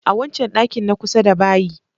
A wancan ɗakin na kusa da bayi.